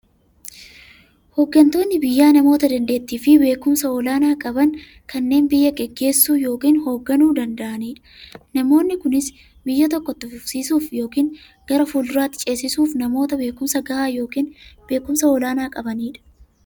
Hooggantoonni biyyaa namoota daanteettiifi beekumsa olaanaa qaban, kanneen biyya gaggeessuu yookiin hoogganuu danda'aniidha. Namoonni kunis, biyya tokko itti fufsiisuuf yookiin gara fuulduraatti ceesisuuf, namoota beekumsa gahaa yookiin beekumsa olaanaa qabaniidha.